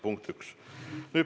Punkt üks.